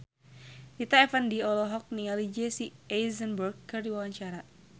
Rita Effendy olohok ningali Jesse Eisenberg keur diwawancara